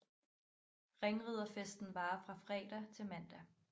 Ringriderfesten varer fra fredag til mandag